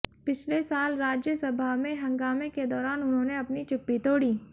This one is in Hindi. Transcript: पिछले साल राज्य सभा में हंगामे के दौरान उन्होंने अपनी चुप्पी तोड़ी